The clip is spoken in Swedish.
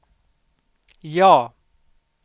ja